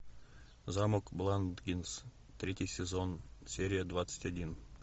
замок бландингс третий сезон серия двадцать один